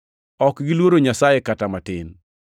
“Ok giluoro Nyasaye kata matin.” + 3:18 \+xt Zab 36:1\+xt*